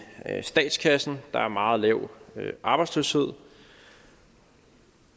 statskassen der er meget lav arbejdsløshed